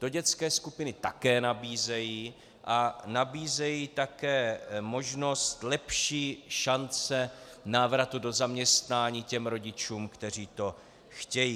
To dětské skupiny také nabízejí a nabízejí také možnost lepší šance návratu do zaměstnání těm rodičům, kteří to chtějí.